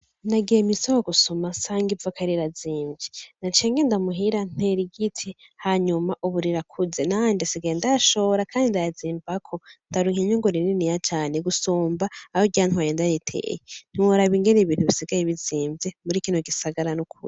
Nagiye mw'isoko gusuma nsanga ivoka rirazimvye naciye ngenda muhira ntera igiti hanyuma ubu rirakuze nanje nsigaye ndayashora kandi ndayazimbako ndaronka Inyungu rininiya cane gusumba ayo ryantwaye ndaritera ntiworaba Ingene ibintu bisigaye bizimvye muri kino gisagara nukuri.